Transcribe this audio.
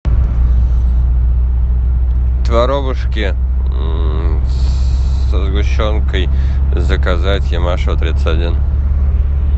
творобушки со сгущенкой заказать ямашева тридцать один